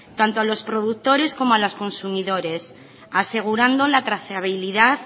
tanto a los productores como a los consumidores asegurando la trazabilidad